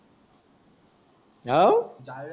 हाव. दहा वेळा